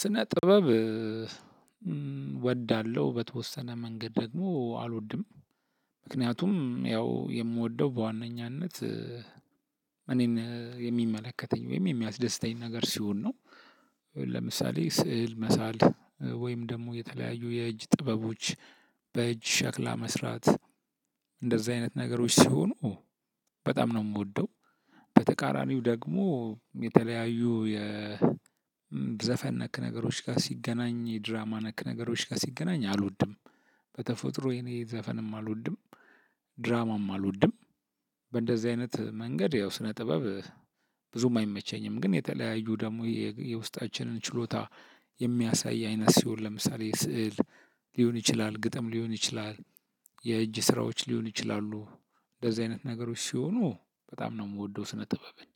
ስነ ጥበብ እወዳለሁ በተወሰነ መንገድ ደግሞ አልወድም ምክንያቱም ያው የምወደው በዋነኛነት እኔን የሚመለከተኝ ወይም የሚያስደስተኝ ነገር ሲሆን ነው። ለምሳሌ ስዕል መሳል ወይም ደግሞ የተለያዩ የእጅ ጥበቦች በእጅ ሸክላ መስራት እንደዛ አይነት ነገሮች ሲሆኑ በጣም ነው እምወደው። በተቃራኒው ደግሞ የተለያዩ የዘፈን ነክ ነገሮች ጋር ሲገናኝ የድራማ ነክ ነገሮች ጋር ሲገናኝ አልወድም። በተፈጥሮ የእኔ ዘፈንም አልወድም። ድራማም አልወድም። በእንደዚህ አይነት መንገድ ያው ስነ ጥበብ ብዙም አይመቸኝም። ግን የተለያዩ ደሞ የውስጣችንን ችሎታ የሚያሳይ አይነት ሲሆን ለምሳሌ ስዕል ሊሆን ይችላል ግጥም ሊሆን ይችላል። የእጅ ስራዎች ሊሆኑ ይችላሉ። እንደዚህ አይነት ነገሮች ሲሆኑ በጣም ነው እምወደው ስነ ጥበብን።